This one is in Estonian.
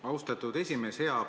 Austatud esimees!